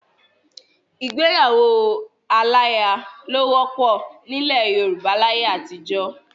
Ìgbéyàwó aláya ló wọ́pọ̀ nílẹ̀ Yorùbá láyé àtijọ́.